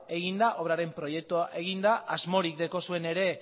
eginda obraren proiektua eginda asmorik daukazue ere